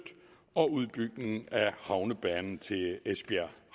og udbygning af havnebanen til esbjerg